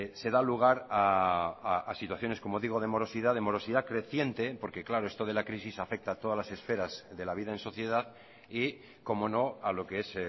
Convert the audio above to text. se da lugar a situaciones como digo de morosidad de morosidad creciente porque claro esto de la crisis afecta a todas las esferas de la vida en sociedad y cómo no a lo que es